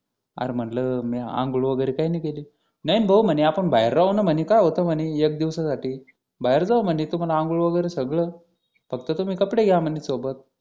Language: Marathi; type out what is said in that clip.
अरे म्हणलं म्या आंघोळ वगैरे काही नाही केली म्हणे नाही भाऊ म्हणे आपण बाहेर राहू ना म्हणे काय होतं म्हणे एका दिवसासाठी बाहेर जाऊ म्हणे तुम्हाला आंघोळ वगैरे सगळं फक्त तुम्ही कपडे घ्या म्हणे सोबत